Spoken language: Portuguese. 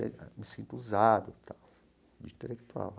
Me sinto usado, tal, de intelectual.